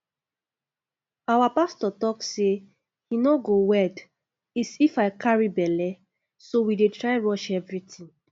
our pastor talk say he no go wed is if i carry bele so we dey try rush everything